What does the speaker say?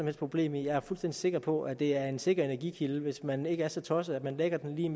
problem med jeg er fuldstændig sikker på at det er en sikker energikilde hvis man ikke er så tosset at man lægger den lige